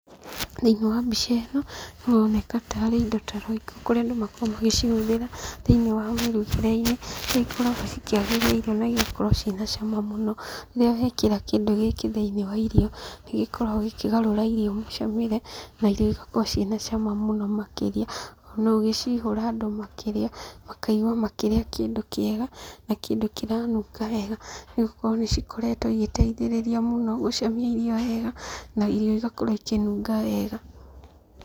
Thĩinĩ wa mbica ĩno, haroneka ta arĩ indo ta roiko, kũrĩa andũ makoragwo magĩcihũthĩra thĩinĩ wa mĩrugĩre-inĩ, nĩikoragwo cikĩagĩria irio na igakorwo ciĩna cama mũno, rĩrĩa wekĩra kĩndũ gĩkĩ thĩinĩ wa irio, nĩgĩkoragwo gĩkĩgarũra irio mũcamĩre, na irio igakorwo ciĩna cama mũno makĩria, na ũgĩciihũra andũ makĩrĩa, makaigua makĩrĩa kĩndũ kĩega na kĩndũ kĩranunga wega, igakorwo nĩcikoretwo igĩtaithĩrĩria mũno gũcamia irio wega, na irio igakorwo ikĩnunga wega.